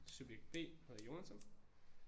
Subjekt B hedder Jonathan